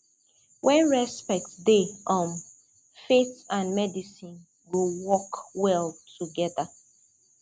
when respect dey um faith and medicine go work well together